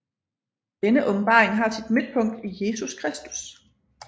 Denne åbenbaring har sit midtpunkt i Jesus Kristus